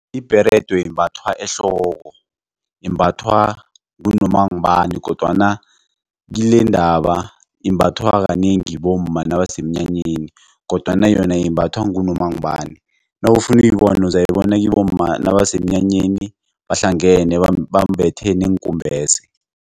Ibherede imbathwa ehloko imbathwa ngunoma ngubani kodwana kilendaba imbathwa kanengi bomma nabasemnyanyeni kodwana yona imbathwa ngunoma ngubani. Nawufuna ukuyibona uzayibona kibomma nabasemnyanyeni bahlangene bambethe neenkumbese.